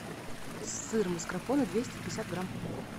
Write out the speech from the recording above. сыр маскарпоне двести пятьдесят грамм